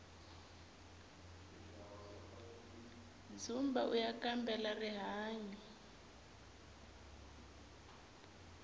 dzumba uya kambela rihanyu